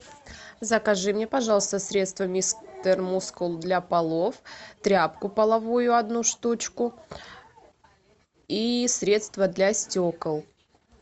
закажи мне пожалуйста средство мистер мускул для полов тряпку половую одну штучку и средство для стекол